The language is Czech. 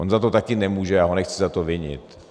On za to také nemůže, já ho nechci za to vinit.